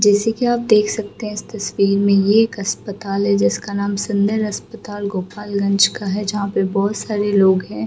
जैसे की आप देख सकते है इस तस्वीर में ये एक अस्पताल है जिसका नाम अस्पताल गोपाल गंज का है जहाँ पे बहुत सारे लोग है।